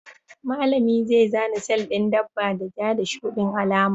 Malami zai zana sel ɗin dabba da ja da shuɗin alama.